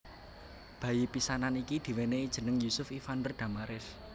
Bayi pisanan iki diwènèi jeneng Yusuf Ivander Damares